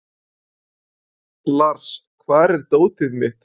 Lúther hvarf þá aftur til borgarinnar og batt enda á myndbrotið.